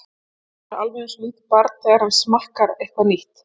Hann er alveg einsog lítið barn, þegar hann smakkar eitthvað nýtt.